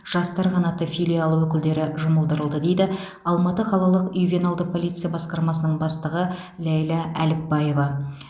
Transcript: жастар қанаты филиалы өкілдері жұмылдырылды дейді алматы қалалық ювеналды полиция басқармасының бастығы ләйлә әліпбаева